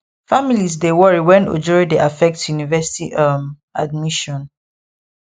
families dey worry when ojoro dey affect university um admission